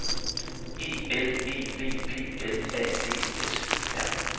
E L E V P L A D S E R